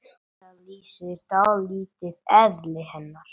Þetta lýsir dálítið eðli hennar.